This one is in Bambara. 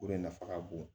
O de nafa ka bon